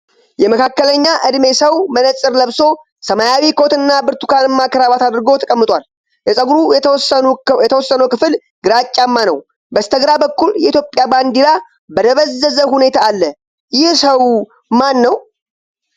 የመካከለኛ ዕድሜ ሰው መነጽር ለብሶ፣ ሰማያዊ ኮትና ብርቱካናማ ክራቫት አድርጎ ተቀምጦል። የፀጉሩ የተወሰነው ክፍል ግራጫማ ነው። በስተግራ በኩል የኢትዮጵያ ባንዲራ በደበዘዘ ሁኔታ አለ። ይህ ሰው ማን ነው?